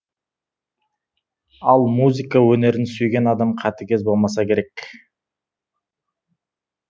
ал музыка өнерін сүйген адам қатыгез болмаса керек